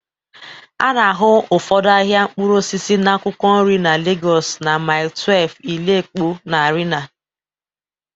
A na-ahụ ụfọdụ ahịa mkpụrụ osisi na akwụkwọ nri na Lagos na Mile 12, Ile Epo na Arena